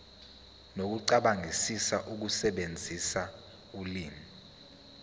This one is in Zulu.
nokucabangisisa ukusebenzisa ulimi